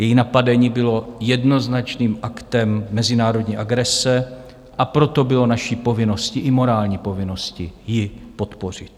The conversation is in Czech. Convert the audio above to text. Její napadení bylo jednoznačným aktem mezinárodní agrese, a proto bylo naší povinností, i morální povinností, ji podpořit.